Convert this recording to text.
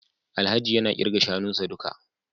Alhaji yana kirga shanunsa duka